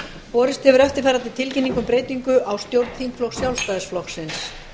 borist hefur eftirfarandi tilkynning um breytingu á stjórn þingflokks sjálfstæðisflokksins